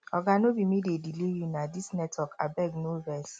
oga no be me dey delay you na dis network abeg no vex